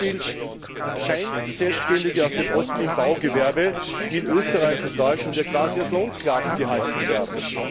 Ein Beispiel Scheinselbständige aus dem Osten im Baugewerbe, die in Österreich und Deutschland quasi als Lohnsklaven gehalten werden.